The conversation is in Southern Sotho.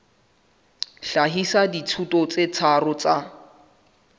hlahisa dithuto tse tharo tsa